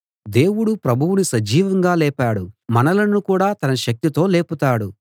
దేవుడు ప్రభువును సజీవంగా లేపాడు మనలను కూడా తన శక్తితో లేపుతాడు